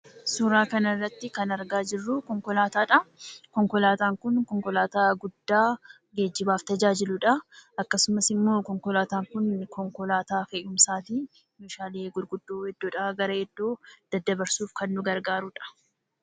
Suuraa kana irratti kan argaa jirru konkolaataadha. Konkolaataan kun konkolaataa guddaa geejjibaaf tajaajiludha. Akkasumas immoo konkolaataankun konkolaataa fe'umsaati. Meeshaalee gurguddoo iddoodhaa gara iddoo daddabarsuuf kan nama gargaarudha.